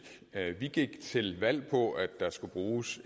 vi gik til valg på at der skulle bruges